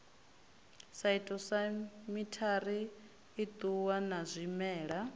phytosamitary i ṱuwa na zwimela